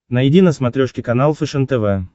найди на смотрешке канал фэшен тв